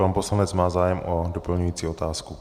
Pan poslanec má zájem o doplňující otázku.